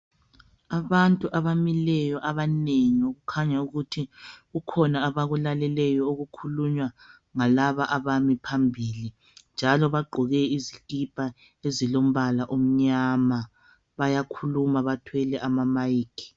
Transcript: Abantu abamileyo abanengi okukhanya ukuthi kukhona abakulaleleyo okukhulunywa ngalaba abami phambili njalo bagqoke izikipa ezilombala omnyama bayakhuluma bathwele ama mike